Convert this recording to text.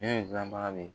Ne ye gilan baga de ye